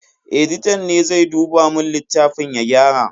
Editan ne zai duba mun littafin ya gyara.